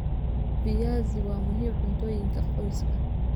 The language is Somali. Viazi waa muhiim cuntooyinka qoyska.